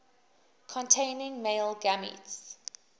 containing male gametes